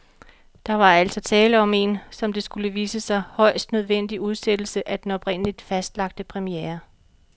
Der var altså tale om en, som det skulle vise sig, højst nødvendig udsættelse af den oprindeligt fastlagte premiere.